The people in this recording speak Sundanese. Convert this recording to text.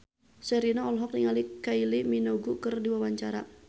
Sherina olohok ningali Kylie Minogue keur diwawancara